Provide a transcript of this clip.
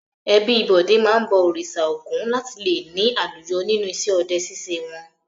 Ẹbí Bọ̀dé máa ń bọ Òrìṣà Ògún láti le ní àlùyọ nínú iṣẹ́ ọdẹ ṣíṣe wọn.